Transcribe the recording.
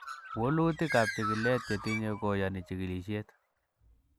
Wolutikab chikilet chetinye ko koyoni chikilisiet.